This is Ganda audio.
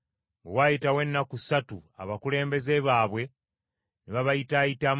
Bwe waayitawo ennaku ssatu abakulembeze baabwe ne babayitaayitamu